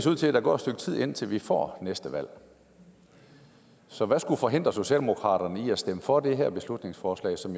ud til at der går et stykke tid indtil vi får næste valg så hvad skulle forhindre socialdemokratiet i at stemme for det her beslutningsforslag som